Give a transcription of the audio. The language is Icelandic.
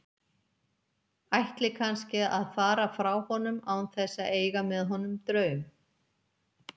Ætli kannski að fara frá honum án þess að eiga með honum draum.